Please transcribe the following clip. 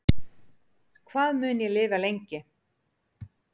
Hvað mun ég lifa lengi